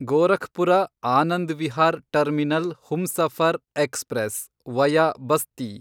Gorakhpur Anand Vihar terminal Humsafar express , via Basti